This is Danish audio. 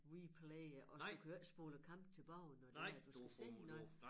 Replay og du kan jo ikke spole æ kamp tilbage når det er at du skal se noget